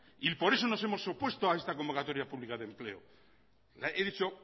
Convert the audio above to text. y por eso nos hemos opuesto a esta convocatoria pública de empleo he dicho